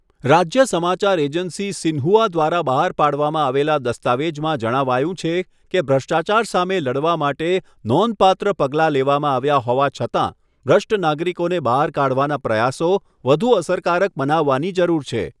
રાજ્ય સમાચાર agency Xinhua દ્વારા બહાર પાડવામાં આવેલા દસ્તાવેજમાં જણાવાયું છે કે ભ્રષ્ટાચાર સામે લડવા માટે 'નોંધપાત્ર' પગલાં લેવામાં આવ્યા હોવા છતાં, ભ્રષ્ટ નાગરિકોને બહાર કાઢવાના પ્રયાસો વધુ અસરકારક બનાવાની જરૂર છે.